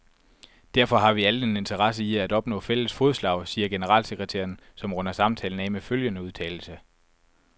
Derfor har vi alle en interesse i at opnå fælles fodslag, siger generalsekretæren, som runder samtalen af med følgende udtalelse.